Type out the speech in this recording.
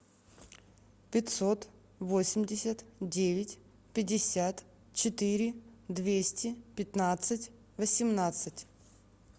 пятьсот восемьдесят девять пятьдесят четыре двести пятнадцать восемнадцать